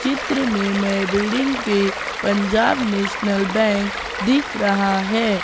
चित्र में मैं बिल्डिंग पे पंजाब नेशनल बैंक दिख रहा है।